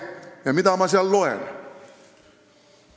Ja mida ma sealt lugesin?